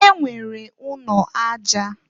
E nwere ụnọ aja.